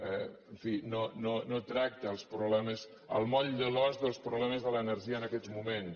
en fi no tracta els problemes el moll de l’os dels problemes de l’energia en aquests moments